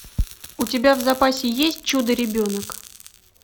у тебя в запасе есть чудо ребенок